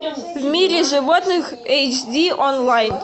в мире животных эйч ди онлайн